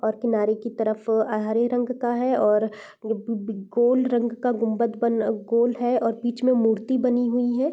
और किनारे की तरफ अ हरे रंग का है और अ गोल रंग का गुम्बज बना गोल है और बीच में मूर्ति बनी हुई है।